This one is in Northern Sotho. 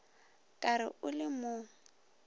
ka re o le mo